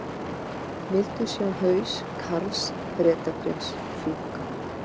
Vildu sjá haus Karls Bretaprins fjúka